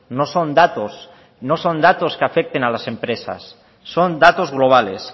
no son datos no son datos que afecten a las empresas son datos globales